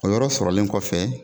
O yɔrɔ sɔrɔlen kɔfɛ